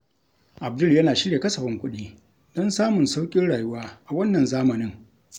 Abdul yana shirya kasafin kuɗi don samun sauƙin rayuwa a wannan zamanin.